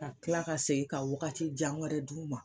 Ka tila ka segin ka wagati jan wɛrɛ d'u ma.